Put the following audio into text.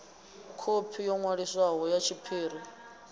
khophi yo ṅwaliswaho ya tshiḽipi